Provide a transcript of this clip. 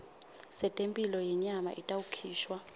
setemphilo yenyama itawukhishwa